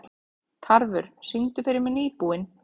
Tarfur, syngdu fyrir mig „Nýbúinn“.